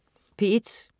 P1: